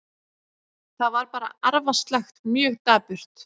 Þetta var bara arfaslakt, mjög dapurt.